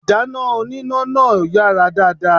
Ìdáná oníná náà ò yàrá dáadáa